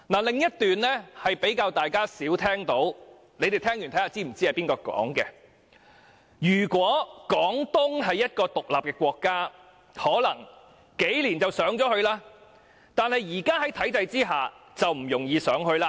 另一段說話是大家較少聽到的，大家聽完後，可以告訴我是否知道是誰說的："如果廣東是一個獨立的國家，可能幾年就上去了，但是在現在的體制下，就不容易上去了。